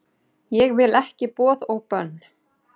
Ég vil ekki boð og bönn